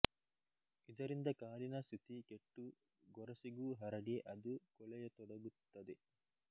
ಇದರಿಂದ ಕಾಲಿನ ಸ್ಥಿತಿ ಕೆಟ್ಟು ಗೊರಸಿಗೂ ಹರಡಿ ಅದು ಕೊಳೆಯತೊಡಗುತ್ತದೆ